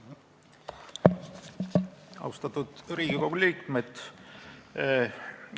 Austatud Riigikogu liikmed!